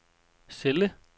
celle